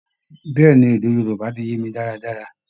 Bẹ́ẹ̀ ni, èdè Yorúbá ti yé mi dáadáa